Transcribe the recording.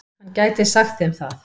Hann gæti sagt þeim það.